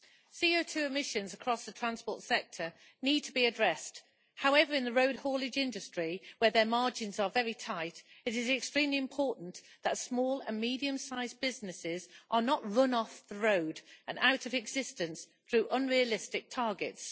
CO2 emissions across the transport sector need to be addressed. However, in the road haulage industry, where margins are very tight, it is extremely important that small and medium sized businesses are not run off the road and out of existence through unrealistic targets.